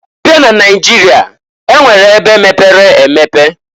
Abịa n'Naịjịrịa, e nwere ebe mepere emepe.